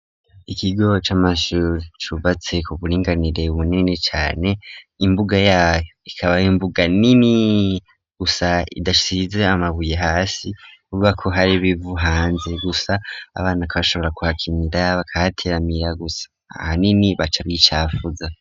Ikigo c'amashure cubatse ku buringanire bunini cane imbuga yayo ikaba ari imbuga nini gusa idasize amabuye hasi ivuga ko hari ibivu hanze gusa abana bagashobora kuhakinira, bakahateramira gusa ahanini baca bicapfuza.